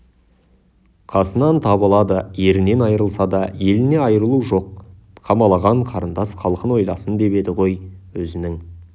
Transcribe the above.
қасынан табылады ерінен айрылса да елінен айрылу жоқ қамалаған қарындас халқын ойласын деп еді ғой өзінің